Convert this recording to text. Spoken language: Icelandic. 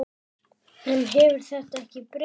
En hefur þetta ekki breyst?